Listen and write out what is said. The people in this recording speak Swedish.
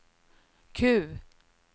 Q